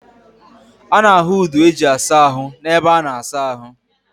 A na-ahu udu eji asa ahu n'ebe a na-asa ahu.